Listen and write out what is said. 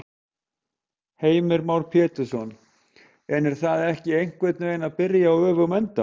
Heimir Már Pétursson: En er það ekki einhvern veginn að byrja á öfugum enda?